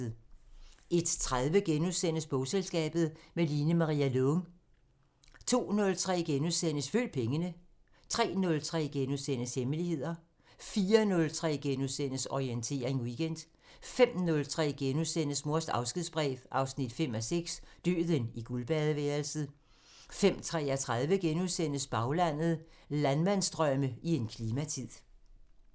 01:30: Bogselskabet – med Line-Maria Lång * 02:03: Følg pengene * 03:03: Hemmeligheder * 04:03: Orientering Weekend * 05:03: Mors afskedsbrev 5:6 – Døden i guldbadeværelset * 05:33: Baglandet: Landmandsdrømme i en klimatid *